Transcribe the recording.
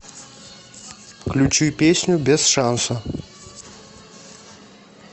включи песню без шанса